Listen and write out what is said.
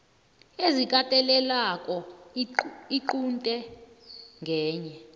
ezikatelelako iqunte ngenye